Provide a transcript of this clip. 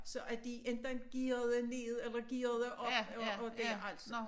Så at de enten gearede ned eller gearede op og og dét altså